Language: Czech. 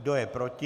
Kdo je proti?